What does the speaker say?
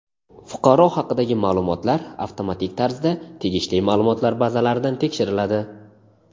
Fuqaro haqidagi maʼlumotlar avtomatik tarzda tegishli maʼlumotlar bazalaridan tekshiriladi.